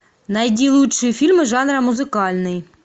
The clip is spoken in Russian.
найди лучшие фильмы жанра музыкальный